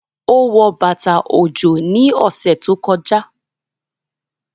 Ó wọ bàtà ọjọ́ ní ọ̀sẹ̀ tó kọjá